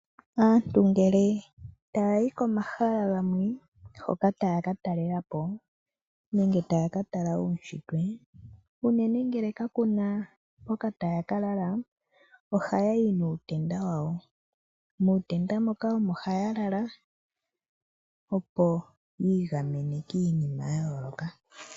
Aantu ngele taya yi komahala gamwe hoka taya katalelapo nenge taya katala uushitwe. Uunene ngele kakuna hoka taya kalala ohaya yi nuutenda wawo, muutenda moka omo haya lala opo yiigamene kiinima yayooloka.